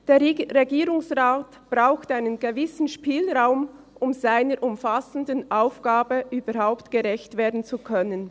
Der Regierungsrat braucht einen gewissen Spielraum, um seiner umfassenden Aufgabe überhaupt gerecht werden zu können.